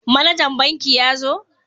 Manajan banki ya zo?